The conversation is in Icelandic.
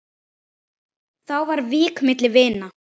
Þá var vík milli vina.